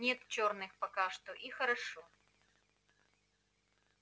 нет чёрных пока что и хорошо